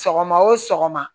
Sɔgɔma o sɔgɔma